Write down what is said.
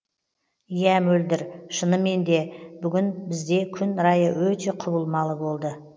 иә мөлдір шынымен де бүгін бізде күн райы өте құбылмалы болды